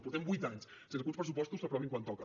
portem vuit anys sense que uns pressupostos s’aprovin quan toca